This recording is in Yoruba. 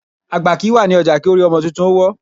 Àgbà kìí wà ní ọjà kórí ọmọ tuntun ó wọ́